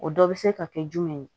O dɔ bɛ se ka kɛ jumɛn ye